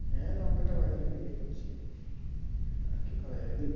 হ্যাঁ লঙ্কাটা বাজারে বিক্রী করছি, আর কি করা যাবে